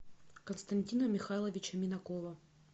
константина михайловича минакова